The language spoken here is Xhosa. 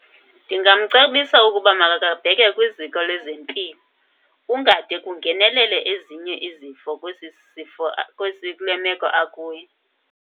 Ndingamcebisa ukuba makake abheke kwiziko lezempilo. Kungade kungenelele ezinye izifo kwesi sifo, kwesi kule meko akuyo.